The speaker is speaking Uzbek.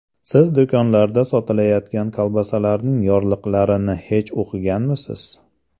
Siz do‘konlarda sotilayotgan kolbasalarning yorliqlarini hech o‘qiganmisiz?